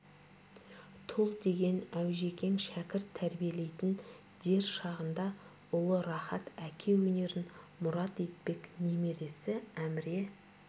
тұл деген аужекең шәкірт тәрбиелейтін дер шағында ұлы рахат әке өнерін мұрат етпек немересі әміре